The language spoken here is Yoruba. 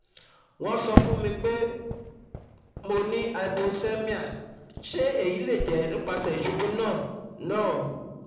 won n sọ fun mi pe mo ni hypoxemia, se eyi le je nipasẹ isubu naa naa